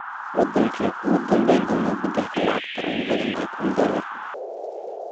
Wadankee ku dambayn doona beddelka lacagta ugu badan ee kun dollar